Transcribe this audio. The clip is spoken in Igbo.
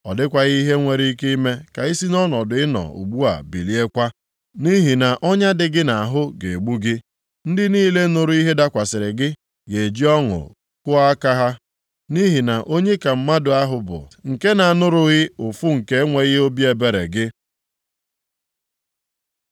Ọ dịghị ihe nwere ike ime ka i si nʼọnọdụ ị nọ ugbu a biliekwa. Nʼihi na ọnya dị gị nʼahụ ga-egbu gị. Ndị niile nụrụ ihe dakwasịrị gị ga-eji ọṅụ kụọ aka ha, nʼihi na onye ka mmadụ ahụ bụ nke na-anụrụghị ụfụ nke enweghị obi ebere gị?